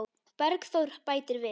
Bergþór bætir við.